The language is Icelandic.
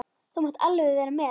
Þú mátt alveg vera með.